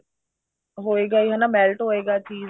ਹੋਏਗਾ ਹੀ ਹਨਾ melt ਹੋਏਗਾ cheese